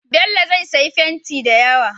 Bello zai siya fenti dayawa